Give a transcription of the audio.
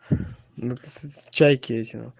но ты чайкина